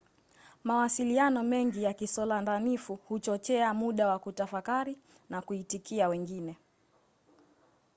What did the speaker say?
mawasiliano mengi ya kisolandanifu huchochea muda wa kutafakari na kuitikia wengine